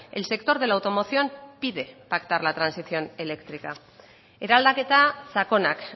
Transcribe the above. el sector de la automoción pide pactar la transición eléctrica eraldaketa sakonak